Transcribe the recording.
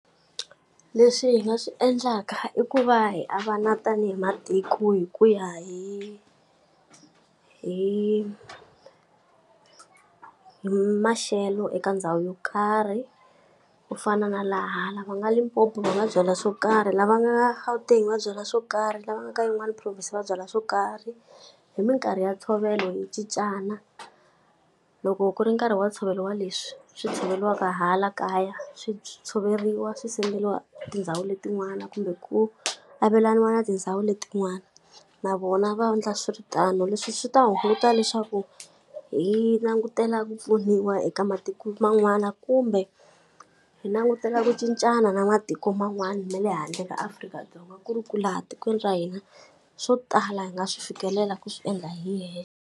Leswi hi nga swi endlaka i ku va hi avana tanihi matiko hi ku ya hi hi hi maxelo eka ndhawu yo karhi. Ku fana na va nga Limpopo va nga byala swo karhi, lava nga Gauteng va nga byala swo karhi, lava nga ka yin'wana province va byala swo karhi. Hi minkarhi ya ntshovelo hi cincana, loko ku ri nkarhi wa ntshovelo wa leswi swi tshoveriwaka hala kaya, swi swi tshoveriwa swi send-eriwa tindhawu letin'wana kumbe ku avelaniwa na tindhawu letin'wana, na vona va endla swi ri tano. Leswi swi ta hunguta leswaku hi langutela ku pfuniwa eka matiko man'wana kumbe hi langutela ku cincana na matiko man'wana na le handle ka Afrika-Dzonga ku ri ku laha tikweni ra hina, swo tala hi nga swi fikelela ku swi endla hi hexe.